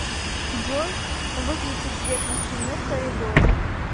джой выключи свет на стене в коридоре